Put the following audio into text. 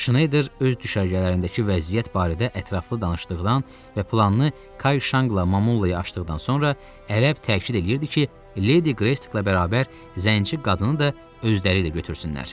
Şneyder öz düşərgələrindəki vəziyyət barədə ətraflı danışdıqdan və planını Kay Şanqla Mamulaya açdıqdan sonra ərəb təkid eləyirdi ki, Ledi Qreysklə bərabər Zənci qadını da özləri ilə götürsünlər.